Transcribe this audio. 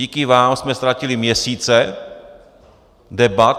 Díky vám jsme ztratili měsíce debat.